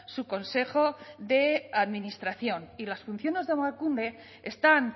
su consejo de administración y las funciones de emakunde están